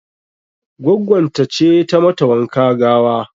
Goggon ta ce ta mata wanka gawa.